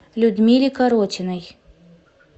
людмиле коротиной